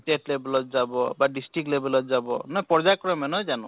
state level ত যাব, বা district level ত যাব পৰ্য়ায় ক্ৰমে নহয় জানো?